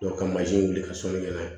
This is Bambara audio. ka mansin wuli ka sɔnni kɛ n'a ye